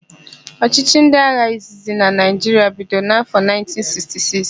Ọchịchị ndị agha izizi na Naịjiria bidoro n'afọ 1966.